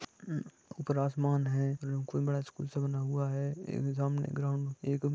मम ऊपर आसमान है बड़ा स्कुल से बना हुआ है एक सामने ग्राउंड--